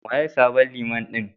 Waye sabon Liman ɗin?